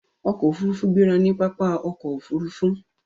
ọkọ òfurufú gbéra ní pápá ọkọ̀ òfurufú.